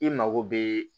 I mago bɛ